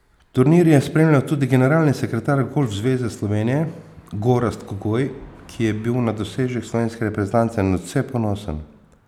Turnir je spremljal tudi generalni sekretear Golf zveze Slovenije Gorazd Kogoj, ki je bil na dosežek slovenske reprezentance nadvse ponosen.